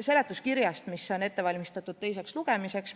seletuskirjast, mis on ette valmistatud teiseks lugemiseks.